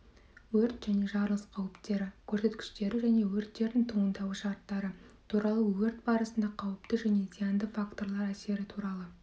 өрт және жарылыс қауіптері көрсеткіштері және өрттердің туындауы шарттары туралы өрт барысында қауіпті және зиянды факторлар әсері туралы